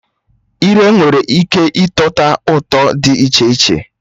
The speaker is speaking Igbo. Ire nwere ike ịtọta ụtọ dị iche iche